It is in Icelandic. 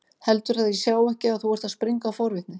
Heldurðu að ég sjái ekki að þú ert að springa af forvitni?